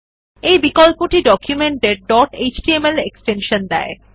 এই বিকল্পটি ডকুমেন্ট এর ডট এচটিএমএল এক্সটেনশন দেয়